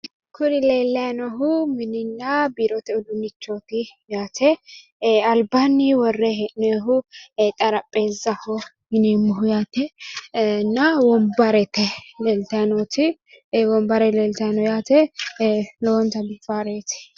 Kuni leellayi noohu mininna biirote udduunichooti yaate albaanni worre hee'noonnihu xarapheessaho yineemmoho yaatenna wonbarete leeltayi nooti yaate lowonta biifannoreeti yaate